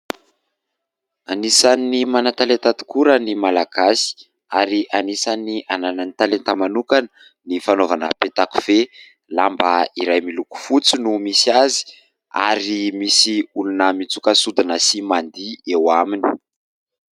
Anisan'ny manan-talenta tokoa raha ny Malagasy ary anisan'ny ananany talenta manokana ny fanaovana peta-kofehy. Lamba iray miloko fotsy no misy azy ary misy olona mitsoka sodina sy mandihy eo aminy.